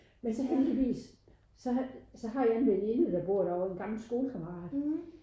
Men så heldigvis så så har jeg en veninde der bor derovre en gammel skolekammerat